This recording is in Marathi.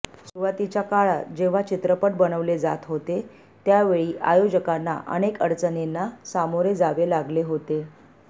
सुरुवातीच्या काळात जेव्हा चित्रपट बनवले जात होते त्यावेळी आयोजकांना अनेक अडचणींना सामोरे जावे लागले होते